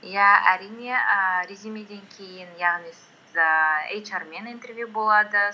иә әрине ііі резюмеден кейін яғни ііі эйчар мен интервью болады